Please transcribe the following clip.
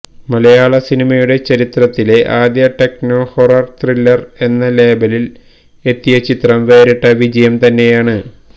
മലയാള സിനിമയുടെ ചരിത്രത്തിലെ ആദ്യ ടെക്നോ ഹൊറർ ത്രില്ലർ എന്ന ലേബലിൽ എത്തിയ ചിത്രം വേറിട്ട വിജയം തന്നെയാണ്